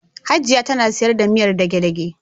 Hajiya tana sayar da miyar dage-dage.